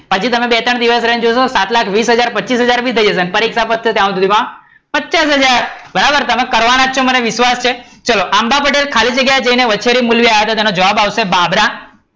હજુ તમે બે-ત્રણ દિવસ રહી ને જોશો ને સાત લાખ વિસ હાજાર પચીસ હાજર થઈ જશે અને પરીક્ષા પતશે ત્યાં સુધી વાહ, પચાસ હાજર, તમે કરવાના જ છો મને વિશ્વાશ છે. આંબા પટેલ ખાલી જગ્યા જઈ ને વછેરી મૂલ્ય આવ્યા તા તો એનો જવાબ આવશે બાબરા,